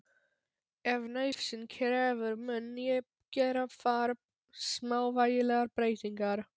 Ef nauðsyn krefur mun ég gera þar smávægilegar breytingar.